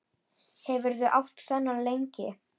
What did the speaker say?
Hefurðu átt þennan lengi?